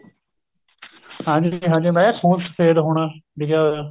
ਹਾਂਜੀ ਹਾਂਜੀ ਮੈਂ ਕਿਆ ਖੂਨ ਸ਼ਫ਼ੇਦ ਹੋਣਾ ਲਿਖਿਆ ਹੋਇਆ